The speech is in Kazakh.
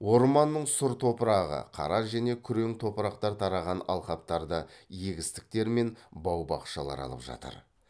орманның сұр топырағы қара және күрең топырақтар тараған алқаптарды егістіктер мен бау бақшалар алып жатыр